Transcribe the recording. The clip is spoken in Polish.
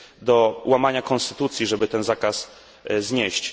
do łamania konstytucji, żeby ten zakaz znieść.